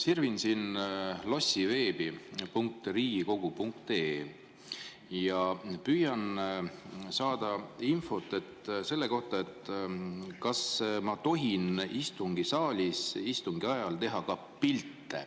Sirvin siin Lossiveebi, lossiveeb.riigikogu.ee, ja püüan saada infot selle kohta, kas ma tohin istungisaalis istungi ajal teha ka pilte.